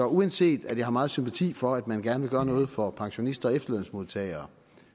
uanset at jeg har meget sympati for at man gerne vil gøre noget for pensionister og efterlønsmodtagere